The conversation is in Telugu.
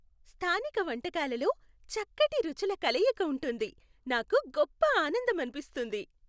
స్థానిక వంటకాలలో చక్కటి రుచుల కలయిక ఉంటుంది, నాకు గొప్ప ఆనందం అనిపిస్తుంది.